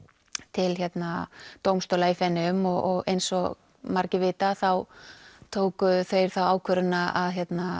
til dómstóla í Feneyjum og eins og margir vita þá tóku þeir þá ákvörðun að